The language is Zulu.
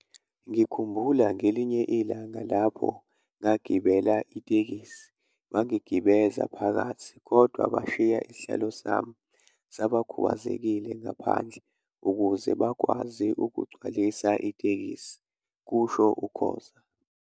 Ngikhumbula ngelinye ilanga lapho ngagibela itekisi, bangigibeza phakathi kodwa bashiya isihlalo sami sabakhubazekile ngaphandle ukuze bakwazi ukugcwalisa itekisi," kusho uKhoza.